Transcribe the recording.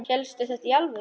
Hélstu þetta í alvöru?